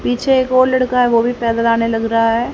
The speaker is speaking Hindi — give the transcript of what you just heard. पीछे एक और लड़का है वो भी पैदल आने लग रा है।